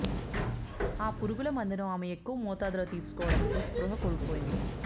ఆ పురుగుల మందును ఆమె ఎక్కువ మోతాదులో తీసుకోవడంతో స్పృహ కోల్పోయింది